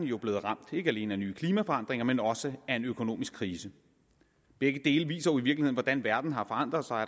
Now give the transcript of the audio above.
jo blevet ramt ikke alene af nye klimaforandringer men også af en økonomisk krise begge dele viser jo i virkeligheden hvordan verden har forandret sig